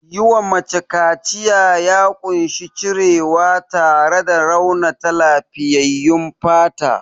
Yiwa mace kaciya ya ƙunshi cirewa tare da raunata lafiyyayyun fata.